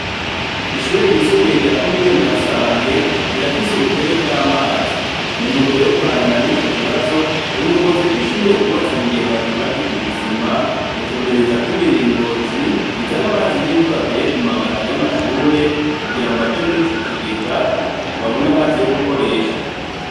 Ishure ryisumbuye rya Komine Nyarusange rirafise ubukene bw'amazi. Muntumbero yo guhangana n'ico kibazo, ubuyobozi bw'ishure bwubatse ibigega vyubakishije isima, gutumberezako imiringoti izana amazi y'imvura avuye ku mabati y'amashure, kugira ngo aje muri ico kigega, babone amazi yo gukoresha.